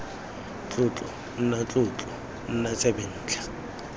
tlotlo nna tlotlo nna tsebentlha